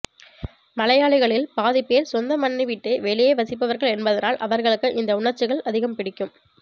மலையாளிகளில் பாதிப்பேர் சொந்த மண்ணை விட்டு வெளியே வசிப்பவர்கள் என்பதனால் அவர்களுக்கு இந்த உணர்ச்சிகள் அதிகம் பிடிக்கும்